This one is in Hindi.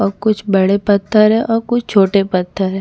और कुछ बड़े पत्थर है और कुछ छोटे पत्थर है।